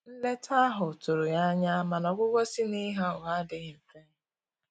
Nleta ahụ tụrụ ya anya, mana ọgwugwọ si na Ịgha ụgha adighi mfe.